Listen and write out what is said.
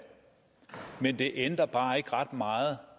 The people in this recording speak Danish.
men det ændrer bare ikke ret meget